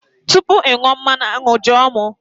Tupu ị ṅụọ mmanụ aṅụ, jụọ m!